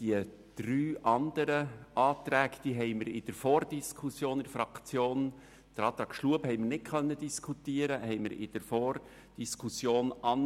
Die andern drei Anträge haben wir in der Vordiskussion in der Fraktion eigentlich ablehnen wollen, wobei wir den Antrag Schlup nicht diskutieren konnten.